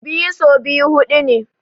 Biyu so biyu huɗu ne.